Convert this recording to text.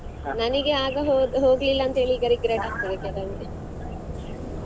ನನಿಗೆ ಆಗ ಹೋಗ್ಲಿಲ್ಲ ಅಂತ ಹೇಳಿ ಈಗ regret ಆಗ್ತಾದೆ ಕೆಲವೊಮ್ಮೆ.